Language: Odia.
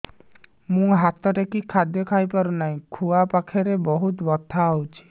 ମୁ ହାତ ଟେକି ଖାଦ୍ୟ ଖାଇପାରୁନାହିଁ ଖୁଆ ପାଖରେ ବହୁତ ବଥା ହଉଚି